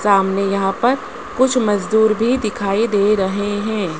सामने यहां पर कुछ मजदूर भी दिखाई दे रहे हैं।